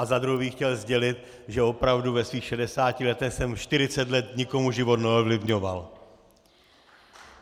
Za druhé bych chtěl sdělit, že opravdu ve svých 60 letech jsem 40 let nikomu život neovlivňoval.